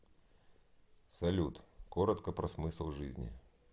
салют коротко про смысл жизни